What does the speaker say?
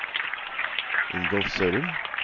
Ingolf Sørum